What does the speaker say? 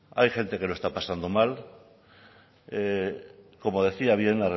hay gente que lo está pasando mal como decía bien